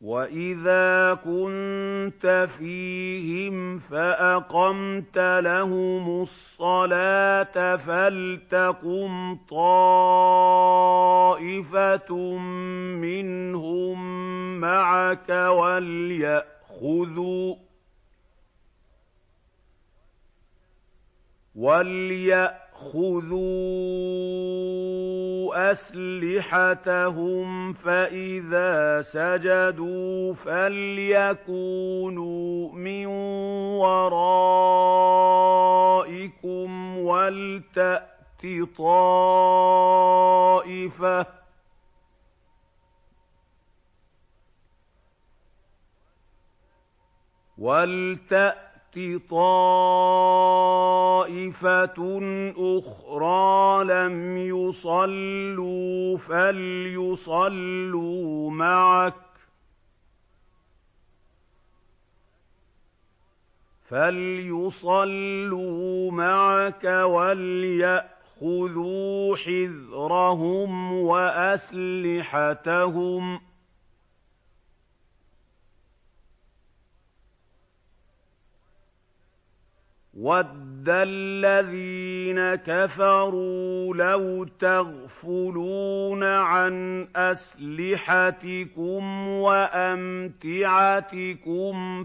وَإِذَا كُنتَ فِيهِمْ فَأَقَمْتَ لَهُمُ الصَّلَاةَ فَلْتَقُمْ طَائِفَةٌ مِّنْهُم مَّعَكَ وَلْيَأْخُذُوا أَسْلِحَتَهُمْ فَإِذَا سَجَدُوا فَلْيَكُونُوا مِن وَرَائِكُمْ وَلْتَأْتِ طَائِفَةٌ أُخْرَىٰ لَمْ يُصَلُّوا فَلْيُصَلُّوا مَعَكَ وَلْيَأْخُذُوا حِذْرَهُمْ وَأَسْلِحَتَهُمْ ۗ وَدَّ الَّذِينَ كَفَرُوا لَوْ تَغْفُلُونَ عَنْ أَسْلِحَتِكُمْ وَأَمْتِعَتِكُمْ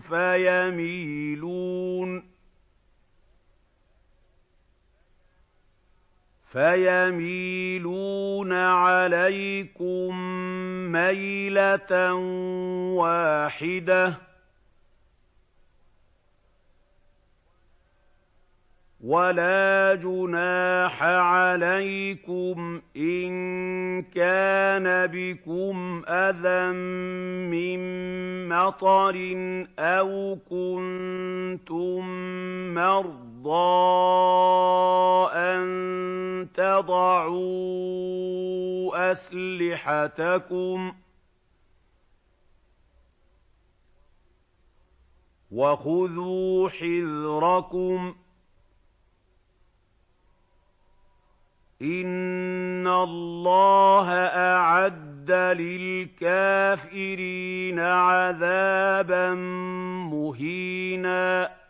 فَيَمِيلُونَ عَلَيْكُم مَّيْلَةً وَاحِدَةً ۚ وَلَا جُنَاحَ عَلَيْكُمْ إِن كَانَ بِكُمْ أَذًى مِّن مَّطَرٍ أَوْ كُنتُم مَّرْضَىٰ أَن تَضَعُوا أَسْلِحَتَكُمْ ۖ وَخُذُوا حِذْرَكُمْ ۗ إِنَّ اللَّهَ أَعَدَّ لِلْكَافِرِينَ عَذَابًا مُّهِينًا